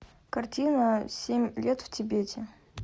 картина семь лет в тибете